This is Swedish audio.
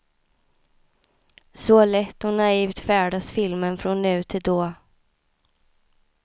Så lätt och naivt färdas filmen från nu till då.